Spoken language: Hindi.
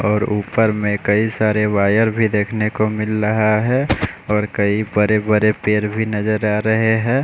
और ऊपर में कई सारे वायर भी देखने को मिल रहा है और कई बड़े बड़े पेड़ भी नज़र आरहे है।